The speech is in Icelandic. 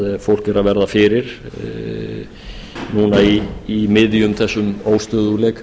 fólk er að verða fyrir núna í miðjum þessum óstöðugleika